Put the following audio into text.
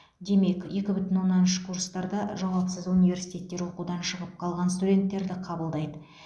демек екі бүтін оннан үш курстарда жауапсыз университеттер оқудан шығып қалған студенттерді қабылдайды